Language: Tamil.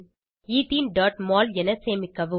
etheneமோல் என சேமிக்கவும்